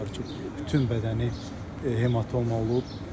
Demək olar ki, bütün bədəni hematoma olub.